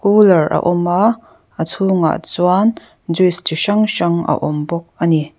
cooler a awm a a chung ah chuan juice chi hrang hrang a awm bawk ani.